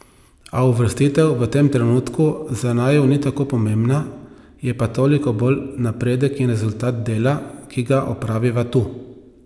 A uvrstitev v tem trenutku za naju ni tako pomembna, je pa toliko bolj napredek in rezultat dela, ki ga opraviva tu.